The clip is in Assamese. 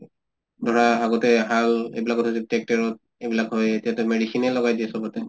ধৰা আগতে হাল এইবিলাকতে tractor ত এইবিলাক হয় এতিয়াতো medicine য়ে লগায় দিয়ে চব্তে